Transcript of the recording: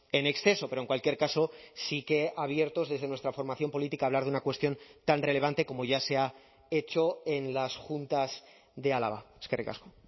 en exceso pero en cualquier caso sí que abiertos desde nuestra formación política a hablar de una cuestión tan relevante como ya se ha hecho en las juntas de álava eskerrik asko